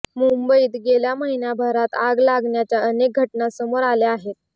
मुंबईत गेल्या महिन्याभरात आग लागण्याच्या अनेक घटना समोर आल्या आहेत